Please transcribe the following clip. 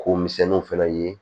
Ko misɛnninw fɛnɛ ye